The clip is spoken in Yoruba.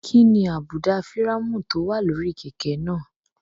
Kí ni àbùdá fírámù tó wà lórí kẹ̀kẹ́ náà?